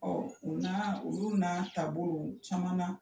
o na olu n'a taabolo caman na